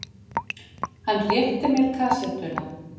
Hann rétti mér kassettuna.